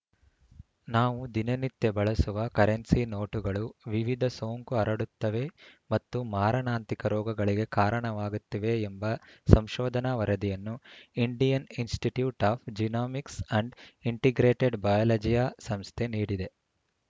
ನಾವು ದಿನನಿತ್ಯ ಬಳಸುವ ಕರೆನ್ಸಿ ನೋಟುಗಳು ವಿವಿಧ ಸೋಂಕು ಹರಡುತ್ತವೆ ಮತ್ತು ಮಾರಣಾಂತಿಕ ರೋಗಗಳಿಗೆ ಕಾರಣವಾಗುತ್ತಿವೆ ಎಂಬ ಸಂಶೋಧನಾ ವರದಿಯನ್ನು Indian institute of genomics and integrated biology ಸಂಸ್ಥೆ ನೀಡಿದೆ